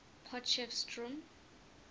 potchefstroom